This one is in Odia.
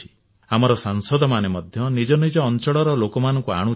ଆମର ସାଂସଦମାନେ ମଧ୍ୟ ନିଜ ନିଜ ଅଞ୍ଚଳର ଲୋକମାନଙ୍କୁ ଆଣୁଛନ୍ତି